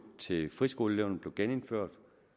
til friskoleeleverne blev genindført og